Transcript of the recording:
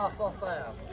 A, xoşdayam.